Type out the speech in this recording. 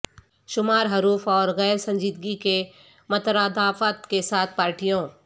شمار حروف اور غیر سنجیدگی کے مترادفات کے ساتھ پارٹیوں